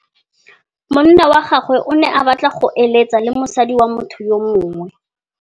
Monna wa gagwe o ne a batla go êlêtsa le mosadi wa motho yo mongwe.